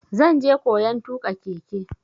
Zan je koyan tuƙa keke.